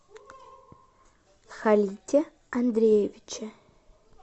халите андреевиче